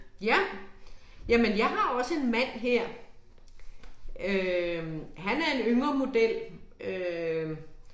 Ja. Jamen jeg har også en mand her. Øh han er en yngre model øh